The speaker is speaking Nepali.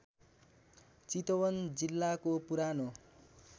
चितवन जिल्लाको पुरानो